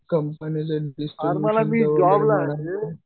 कंपनीचं